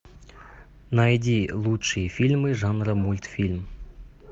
найди лучшие фильмы жанра мультфильм